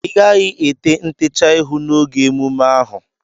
Ịgaghị ete ntecha ihu n'oge emume ahụ!